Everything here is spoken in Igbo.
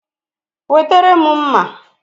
Wetere m mma!